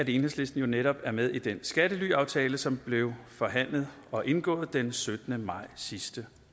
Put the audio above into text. enhedslisten netop er med i den skattelyaftale som blev forhandlet og indgået den syttende maj sidste